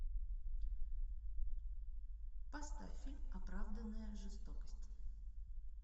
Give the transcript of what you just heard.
поставь фильм оправданная жестокость